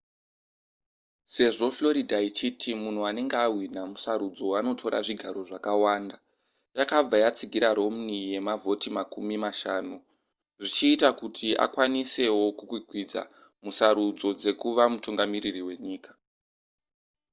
sezvo florida ichiti munhu anenge ahwina musarudzo anotora zvigaro zvakawanda yakabva yatsigira romney yemavhoti makumi mashanu zvichiita kuti akwanisewo kukwikwidza musarudzo dzekuva mutungamiriri wenyika